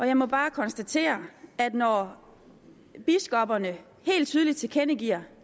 jeg må bare konstatere at når biskopperne helt tydeligt tilkendegiver